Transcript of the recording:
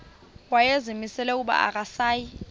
wayezimisele ukuba akasayi